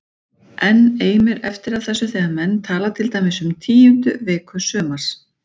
Enn eimir eftir af þessu þegar menn tala til dæmis um tíundu viku sumars